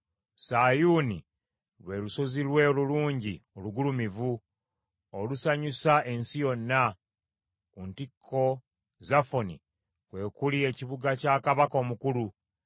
Sayuuni lwe lusozi lwe olulungi olugulumivu, olusanyusa ensi yonna. Ku ntikko Zafoni kwe kuli ekibuga kya Kabaka Omukulu;